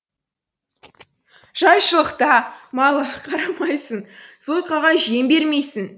жайшылықта малға қарамайсың зойкаға жем бермейсің